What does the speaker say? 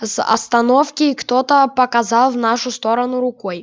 с остановки кто-то показал в нашу сторону рукой